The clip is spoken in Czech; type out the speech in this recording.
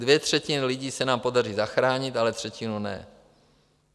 Dvě třetiny lidí se nám podaří zachránit, ale třetinu ne.